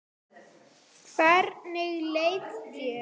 Hvernig leið þér?